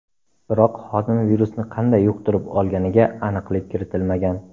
Biroq xodim virusni qanday yuqtirib olganiga aniqlik kiritilmagan.